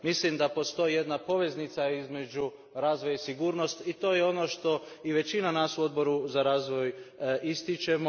Mislim da postoji jedna poveznica između razvoja i sigurnosti, i to je ono što većina nas u Odboru za razvoj ističe.